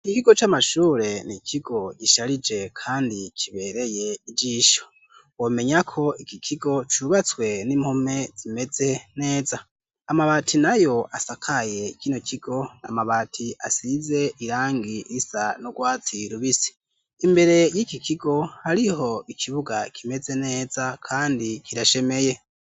Ikigo c'amashure n'ikigo gisharije kandi kibereye ijisho. Womenya ko iki kigo cubatswe n'impome zimeze neza. Amabati nayo asakaye kino kigo ni amabati asize irangi risa n'urwatsi rubisi. Imbere y'ikikigo, hariho ikibuga kimeze neza kandi kirashemeye.